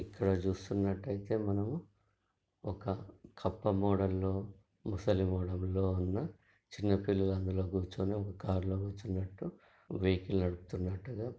ఇక్కడ చూస్తునట్టాయితే మనము ఒక కప్ప మోడెల్ లో మూసలి మోడెల్ లో ఉన్న చిన్న పిల్లలు అందులో కూర్చొని ఒక కార్ లో కూరచునట్టు వెహికలే నడుపుతునట్టుగా--